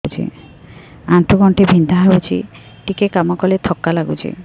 ଆଣ୍ଠୁ ଗଣ୍ଠି ବିନ୍ଧା ହେଉଛି ଟିକେ କାମ କଲେ ଥକ୍କା ଲାଗୁଚି